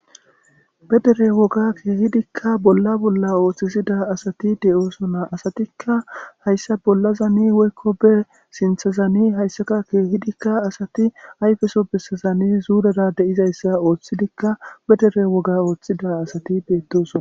Bedere woga keehidikka bolla bolla ooththisida asati de7oosona asatikka hayssa bolla zani woykko be sintha zani hayssaka keehidikka asati ayfeso bessazani zuurada de7izayssa ooththidikka pedere woga ooththida asati beettosona